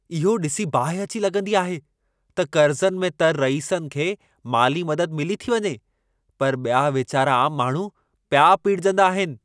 इहो ॾिसी बाहि अची लॻंदी आहे त कर्ज़नि में तरु रईसनि खे माली मदद मिली थी वञे, पर ॿिया वेचारा आम माण्हू पिया पीड़िजंदा आहिनि।